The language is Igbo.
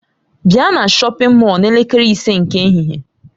Bịa na shọpin Mọll n'elekere ise nke ehihie!